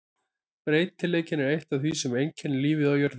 Breytileikinn er eitt af því sem einkennir lífið á jörðinni.